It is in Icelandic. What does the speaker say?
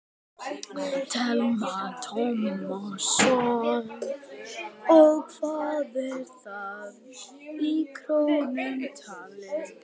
Telma Tómasson: Og hvað er það í krónum talið?